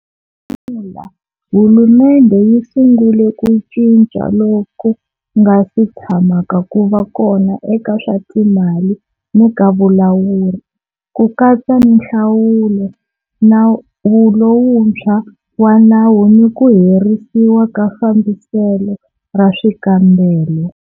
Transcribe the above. Hlamula, hulumendhe yi sungule ku cinca loku nga si tshamaka ku va kona eka swa timali ni ka vulawuri, ku katsa ni nhlawulo, nawu lowuntshwa wa nawu ni ku herisiwa ka fambiselo ra swikambelo.